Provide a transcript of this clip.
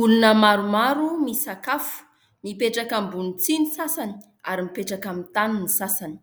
Olona maromaro misakafo. Mipetraka ambony tsihy ny sasany ary mipetraka amin'ny tany ny sasany.